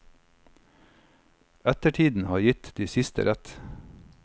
Ettertiden har gitt de siste rett.